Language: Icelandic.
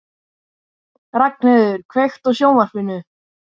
Hálfdán, spilaðu lag.